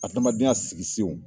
Adamadenya sigi senw